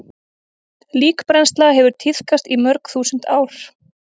Líkbrennsla hefur tíðkast í mörg þúsund ár.